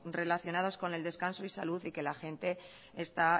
relacionados con el descanso y salud y que la gente está